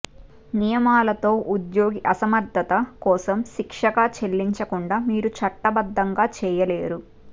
నియమాలతో ఉద్యోగి అసమర్థత కోసం శిక్షగా చెల్లించకుండా మీరు చట్టబద్దంగా చేయలేరు